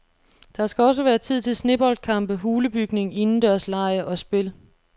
Der skal også være tid til sneboldkampe, hulebygning, indendørslege og spil.